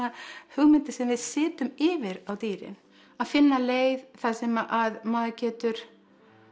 hugmyndir sem við setjum yfir á dýrin að finna leið þar sem að maður getur